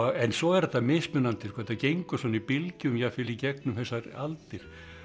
svo er þetta mismunandi þetta gengur svona í bylgjum jafnvel í gegnum þessar aldir